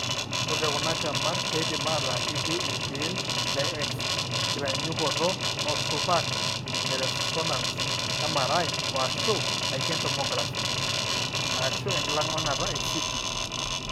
Ore kuna temat keidim aataa ketii iltiil le X, enkitanyaanyukoto osupaak leresonance (MRI), o/ashu aiken tomography (enkilang'ilang'ata eCT).